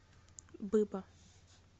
быба